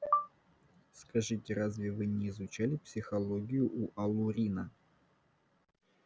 скажите разве вы не изучали психологию у алурина